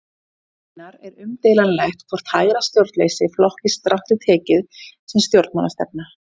Raunar er umdeilanlegt hvort hægra stjórnleysi flokkist strangt til tekið sem stjórnmálastefna.